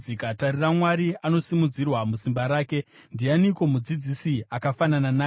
“Tarira, Mwari anosimudzirwa musimba rake. Ndianiko mudzidzisi akafanana naye?